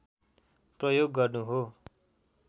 प्रयोग गर्नु हो